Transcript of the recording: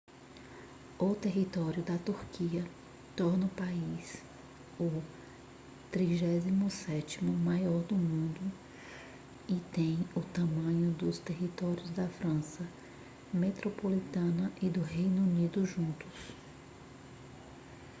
o território da turquia torna o país o 37º maior do mundo e tem o tamanho dos territórios da frança metropolitana e do reino unido juntos